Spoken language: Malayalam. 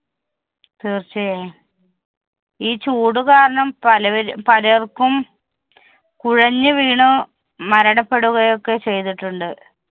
തീർച്ചയായും. ഈ ചൂട് കാരണം പലവര് പലർക്കും കുഴഞ്ഞുവീണ് മരണപ്പെടുകയൊക്കെ ചെയ്തിട്ടുണ്ട്.